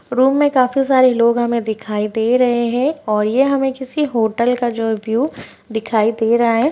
Room में काफी सारे लोग हमें दिखाई दे रहे हैं और हमें ये किसी होटल का जो है व्यू दिखाई दे रहा है।